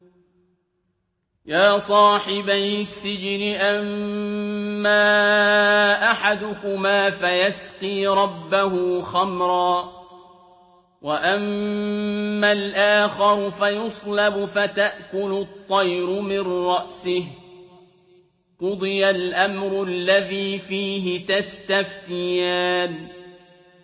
يَا صَاحِبَيِ السِّجْنِ أَمَّا أَحَدُكُمَا فَيَسْقِي رَبَّهُ خَمْرًا ۖ وَأَمَّا الْآخَرُ فَيُصْلَبُ فَتَأْكُلُ الطَّيْرُ مِن رَّأْسِهِ ۚ قُضِيَ الْأَمْرُ الَّذِي فِيهِ تَسْتَفْتِيَانِ